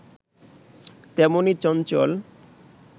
তেমনি চঞ্চল